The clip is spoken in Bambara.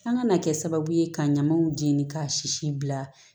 An kana kɛ sababu ye ka ɲamaw jeni k'a si bila